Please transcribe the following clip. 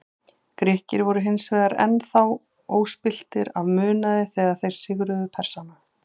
Grikkir voru hins vegar enn þá óspilltir af munaði þegar þeir sigruðu Persana.